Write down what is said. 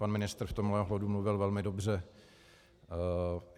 Pan ministr v tomhle ohledu mluvil velmi dobře.